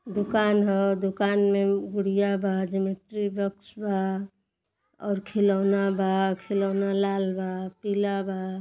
दुकान ह। दुकान में गुड़िया बा। ज्योमेट्री बॉक्स बा और खिलौना बा। खिलौना लाल बा पीला बा।